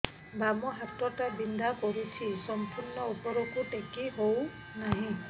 ବାମ ହାତ ଟା ବିନ୍ଧା କରୁଛି ସମ୍ପୂର୍ଣ ଉପରକୁ ଟେକି ହୋଉନାହିଁ